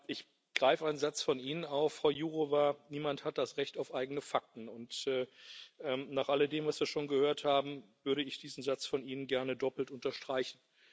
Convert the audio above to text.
Ich greife einen Satz von Ihnen auf, Frau Jourová Niemand hat das Recht auf eigene Fakten, und nach alledem, was wir schon gehört haben, würde ich diesen Satz von Ihnen gerne doppelt unterstreichen.